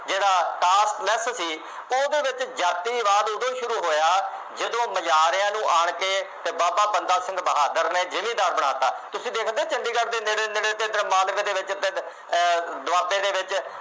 ਜਿਹੜਾ ਮਿੱਥ ਕੇ, ਉਹਦੇ ਵਿੱਚ ਜਾਤੀਵਾਦ ਉਦੋਂ ਸ਼ੁਰੂ ਹੋਇਆ, ਜਦੋਂ ਮੁਜ਼ਾਹਰਿਆਂ ਨੂੰ ਆਉਣ ਕੇ ਅਤੇ ਬਾਬਾ ਬੰਦਾ ਸਿੰਘ ਬਹਾਦਰ ਨੇ ਜਿਮੀਂਦਾਰ ਬਣਾ ਦਿੱਤਾ। ਤੁਸੀਂ ਦੇਖਦੇ ਹੋ ਚੰਡੀਗੜ੍ਹ ਦੇ ਨੇੜੇ ਨੇੜੇ ਅਤੇ ਮਾਲਵੇ ਦੇ ਵਿੱਚ ਪਿੰਡ ਅਹ ਦੁਆਬੇ ਦੇ ਵਿੱਚ